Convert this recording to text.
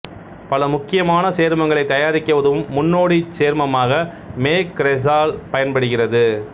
பல முக்கியமான சேர்மங்களைத் தயாரிக்க உதவும் முன்னோடிச் சேர்மமாக மெ கிரெசால் பயன்படுகிறது